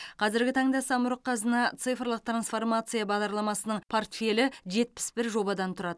қазіргі таңда самұрық қазына цифрлық трансформация бағдарламасының портфелі жетпіс бір жобадан тұрады